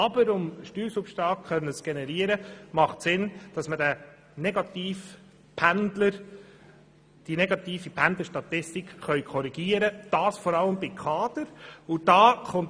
Aber um Steuersubstrat zu generieren, ist es zweckmässig, diese Pendlerstatistik zu korrigieren, insbesondere bei den Kaderpersonen.